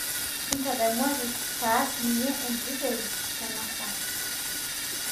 intadamuaki paas ninye enkiti toki tena saaa